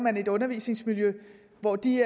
et undervisningsmiljø hvor de